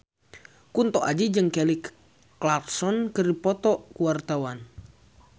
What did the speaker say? Kunto Aji jeung Kelly Clarkson keur dipoto ku wartawan